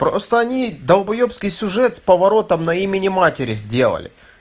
просто они долбаёбский сюжет с поворотом на имени матери сделали